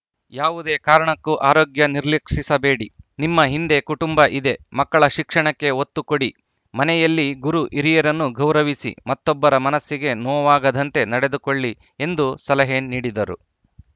ಯಾವುದೇ ಕಾರಣಕ್ಕೂ ಆರೋಗ್ಯ ನಿರ್ಲಕ್ಷಿಸಬೇಡಿ ನಿಮ್ಮ ಹಿಂದೆ ಕುಟುಂಬ ಇದೆ ಮಕ್ಕಳ ಶಿಕ್ಷಣಕ್ಕೆ ಒತ್ತು ಕೊಡಿ ಮನೆಯಲ್ಲಿ ಗುರುಹಿರಿಯರನ್ನು ಗೌರವಿಸಿ ಮತ್ತೊಬ್ಬರ ಮನಸ್ಸಿಗೆ ನೋವಾಗದಂತೆ ನಡೆದುಕೊಳ್ಳಿ ಎಂದು ಸಲಹೆ ನೀಡಿದರು